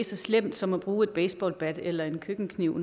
så slemt som at bruge et baseballbat eller en køkkenkniv